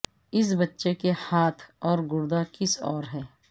اس بچے کے ہاتھ اور گردہ کسی اور ہے